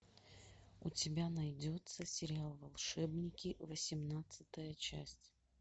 у тебя найдется сериал волшебники восемнадцатая часть